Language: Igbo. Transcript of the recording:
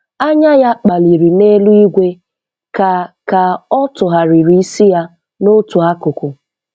Anya ya kpaliri n’eluigwe ka ka ọ tụgharịrị isi ya n’otu akụkụ.